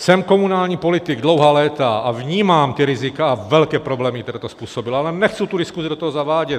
Jsem komunální politik dlouhá léta a vnímám ta rizika a velké problémy, které to způsobilo, ale nechci tu diskusi do toho zavádět.